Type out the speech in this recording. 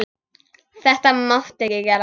Þetta máttu ekki gera.